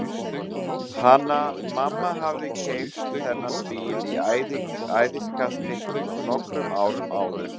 Hanna-Mamma hafði keypt þennan bíl í æðiskasti nokkrum árum áður.